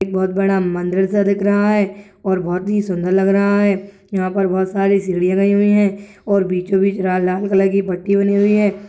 एक बहोत बड़ा म मंदिर सा दिख रहा है और बहुत ही सुन्दर लग रहा है यहाँ पर बहुत सारी सीढ़ी हुई है और बीचो बीच ला -लाल कलर की पट्टी बनी हुई है।